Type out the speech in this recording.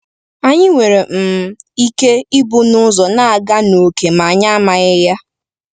Anyị nwere um ike ịbụ n’ụzọ na-aga ókè ma anyị amaghị ya.